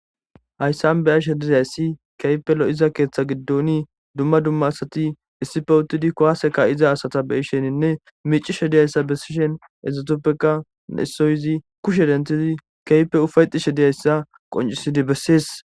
Hayssan beashe dizayssi kehippe lo7iza keeththa giddoni dumma dumma asati issippe uttidi kuwase kaiza asata beisheninne miccishe diyayssa besishin izetappeka issinozi kushshe denthidi kehippe ufayetishe diyayssa qoncisidi bessees.